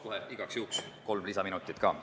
Palun igaks juhuks kohe kolm minutit juurde.